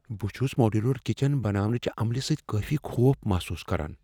بہٕ چھس modular kitchen بناونٕچہ عملہ سۭتۍ کٲفی خوف محسوس کران۔